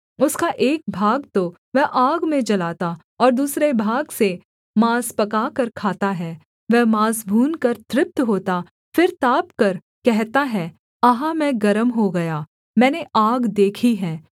उसका एक भाग तो वह आग में जलाता और दूसरे भाग से माँस पकाकर खाता है वह माँस भूनकर तृप्त होता फिर तापकर कहता है अहा मैं गर्म हो गया मैंने आग देखी है